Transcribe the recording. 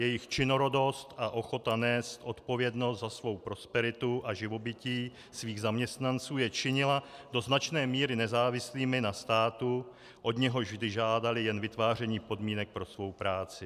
Jejich činorodost a ochota nést odpovědnost za svou prosperitu a živobytí svých zaměstnanců je činila do značné míry nezávislými na státu, od něhož vždy žádali jen vytváření podmínek pro svou práci.